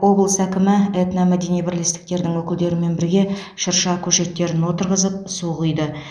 облыс әкімі этномәдени бірлестіктердің өкілдерімен бірге шырша көшеттерін отырғызып су құйды